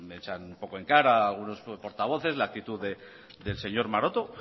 sé me echan un poco en cara algunos portavoces la actitud del señor maroto